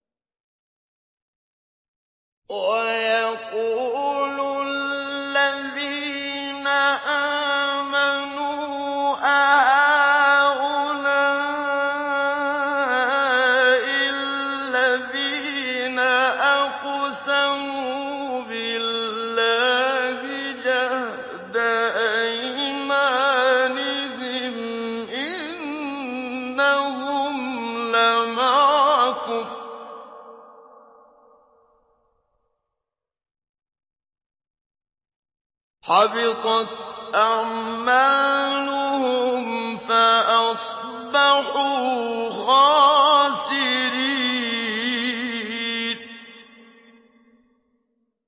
وَيَقُولُ الَّذِينَ آمَنُوا أَهَٰؤُلَاءِ الَّذِينَ أَقْسَمُوا بِاللَّهِ جَهْدَ أَيْمَانِهِمْ ۙ إِنَّهُمْ لَمَعَكُمْ ۚ حَبِطَتْ أَعْمَالُهُمْ فَأَصْبَحُوا خَاسِرِينَ